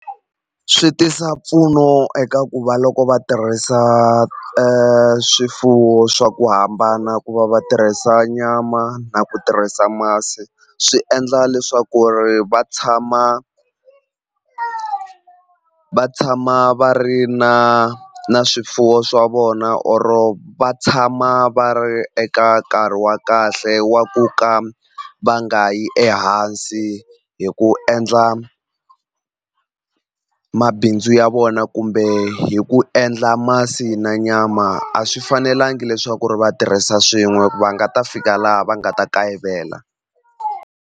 Swi tisa mpfuno eka ku va loko va tirhisa e swifuwo swa ku hambana ku va va tirhisa nyama na ku tirhisa masi swi endla leswaku ri va tshama va tshama va ri na na swifuwo swa vona or va tshama va ri eka nkarhi wa kahle wa ku ka va nga yi ehansi hi ku endla mabindzu ya vona kumbe hi ku endla masi na nyama a swi fanelangi leswaku ri va tirhisa swin'we va nga ta fika laha va nga ta kayivela.